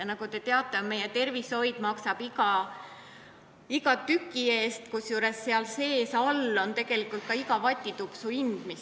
Nagu te teate, meie tervishoius maksab n-ö iga tükk, kusjuures teenuse alla on arvestatud iga kulunud vatitupsu hind.